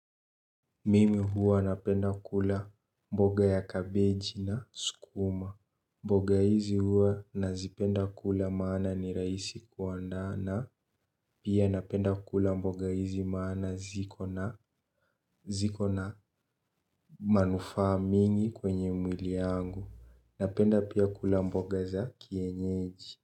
Mimi huwa napenda kula mboga ya kabeji na sukuma. Mboga hizi huwa nazipenda kula maana ni rahisi kuandaa na pia napenda kula mboga hizi maana ziko na manufaa mingi kwenye mwili yangu. Napenda pia kula mboga za kienyeji.